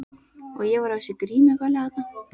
Og ég var á þessu grímuballi þarna.